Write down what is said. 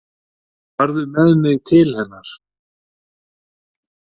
Farðu með mig til hennar.